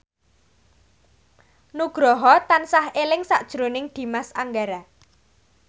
Nugroho tansah eling sakjroning Dimas Anggara